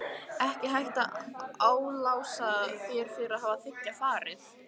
Ekki hægt að álasa þér fyrir að þiggja farið.